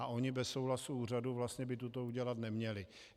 A oni bez souhlasu úřadu vlastně by toto udělat neměli.